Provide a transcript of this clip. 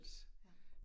Ja